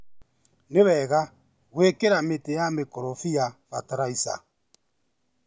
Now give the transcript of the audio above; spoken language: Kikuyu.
Nĩ wega gwĩkĩra mĩtĩ ya mĩkorobia bataraica.